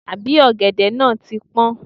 Àbí ọ̀gẹ̀dẹ̀ náà ti pọ́n?